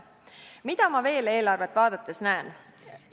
Mida ma veel eelarvet vaadates näen?